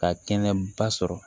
Ka kɛnɛba sɔrɔ